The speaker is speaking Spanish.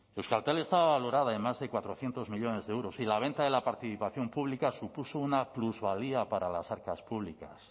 euskaltel estaba valorada en más de cuatrocientos millónes de euros y la venta de la participación pública supuso una plusvalía para las arcas públicas